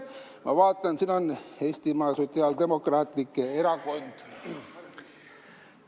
Ma vaatan, et siin on Eestimaa Sotsiaaldemokraatlik Erakond.